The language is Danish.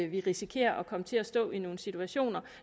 vi risikerer at komme til at stå i nogle situationer